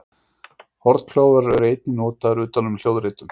hornklofar eru einnig notaðir utan um hljóðritun